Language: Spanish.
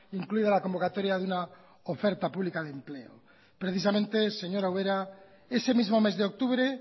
incluida la convocatoria de una oferta pública de empleo precisamente señora ubera ese mismo mes de octubre